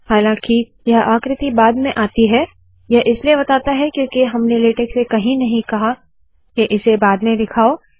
हालांकि यह आकृति बाद में आती है यह इसलिए बताता है क्योंकि हमने लेटेक से कही नहीं कहा के इसे बाद में दिखाओ